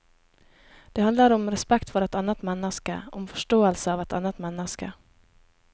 Det handler om respekt for et annet menneske, om forståelse av et annet menneske.